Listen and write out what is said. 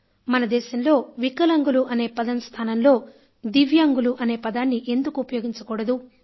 మన దేశంలో వికలాంగులు అనే పదం స్థానంలో దివ్యాంగులు అనే పదాన్ని ఎందుకు ఉపయోగించకూడదు